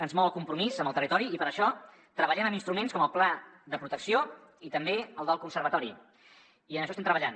ens mou el compromís amb el territori i per això treballem amb instruments com el pla de protecció i també el del conservatori i en això estem treballant